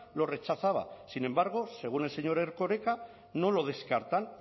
lo rechazaba sin embargo según el señor erkoreka no lo descartan